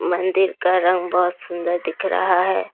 मंदिर का रंग बहुत सुंदर दिख रहा है।